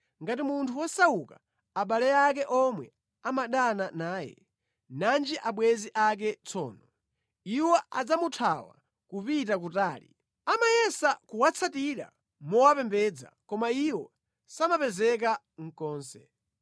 Ngati munthu wosauka abale ake omwe amadana naye, nanji abwenzi ake tsono! Iwo adzamuthawa kupita kutali. Amayesa kuwatsatira mowapembedza koma iwo samapezeka konse.